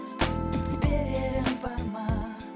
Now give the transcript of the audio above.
берерім бар ма